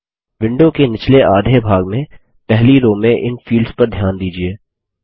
window के निचले आधे भाग में पहली रो में इन फील्ड्स पर ध्यान दीजिये